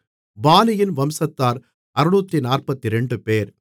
பானியின் வம்சத்தார் 642 பேர்